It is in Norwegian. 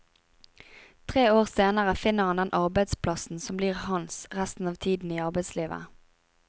Tre år senere finner han den arbeidsplassen som blir hans resten av tiden i arbeidslivet.